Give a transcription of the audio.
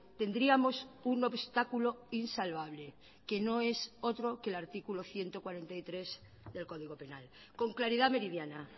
tendríamos un obstáculo insalvable que no es otro que el artículo ciento cuarenta y tres del código penal con claridad meridiana